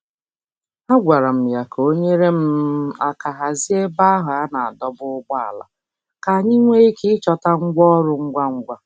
A gwara m ya ka o nyere um aka hazie ebe ahụ a na-adọba ụgbọala ka anyị nwee ike ịchọta ngwa ọrụ ngwa ngwa.